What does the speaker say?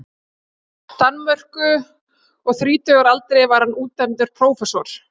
Danmörku, og þrítugur að aldri var hann útnefndur prófessor.